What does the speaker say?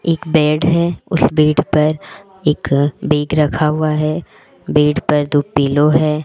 एक बेड है उस बेड पर एक बैग रखा हुआ है बेड पर दो पीलो है।